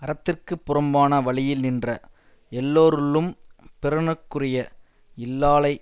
அறத்திற்குப் புறம்பான வழியில் நின்ற எல்லோருள்ளும் பிறனுக்குரிய இல்லாளை